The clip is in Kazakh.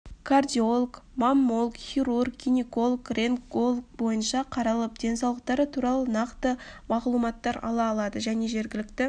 кардиолог маммолог хирург гинеколог рентгенолог бойынша қаралып денсаулықтары тұралы нақты мағлұматтар ала алады және жергілікті